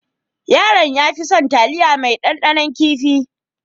Yaron ya fi son taliya mai dandanon kifi.